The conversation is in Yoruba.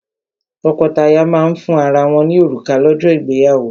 Tọ́kọtaya máa ń fún ara wọ́n ní òrùka lọ́jọ́ ìgbéyàwó.